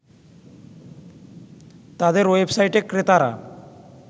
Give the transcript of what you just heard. তাদের ওয়েবসাইটে ক্রেতারা